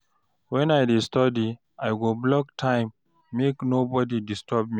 When I dey study, I go block time make nobody disturb me.